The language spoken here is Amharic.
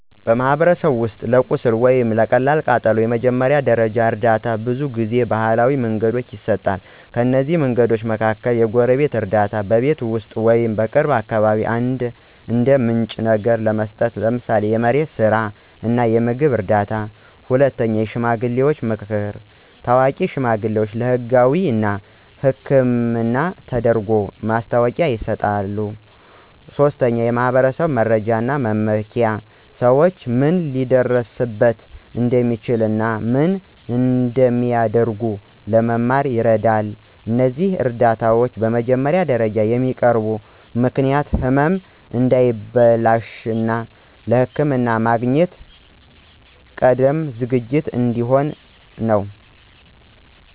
በማኅበረሰብ ውስጥ ለቁስል ወይም ለቀላል ቃጠሎ የመጀመሪያ ደረጃ እርዳታ በብዙ ጊዜ ባህላዊ መንገዶች ይሰጣል። ከእነዚህ መንገዶች መካከል፦ 1. የጎረቤት እርዳታ – በቤት ውስጥ ወይም በቅርብ አካባቢ እንደ ምንጭ ነገር ለመስጠት፣ ምሳሌ የመሬት ስራ እና የምግብ እርዳታ። 2. የሽማግሌዎች መምከር – ታዋቂ ሽማግሌዎች ለህጋዊ እና ሕክምና ተደርጎ ማስታወቂያ ይሰጣሉ። 3. የማኅበረሰብ መረጃ እና መመኪያ – ሰዎች ምን ሊደርስበት እንደሚችል እና ምን እንደሚያደርጉ ለመማር ይረዳል። እነዚህ እርዳታዎች በመጀመሪያ ደረጃ የሚያቀርቡ ምክንያት ህመም እንዳይበላሽ፣ እና ለሕክምና ማግኘት ቀድሞ ዝግጅት እንዲሆን ነው።